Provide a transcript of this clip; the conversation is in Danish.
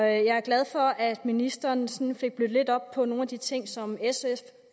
jeg er glad for at ministeren sådan fik blødt lidt op på nogle af de ting som sf